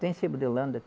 Tem sebo de holanda?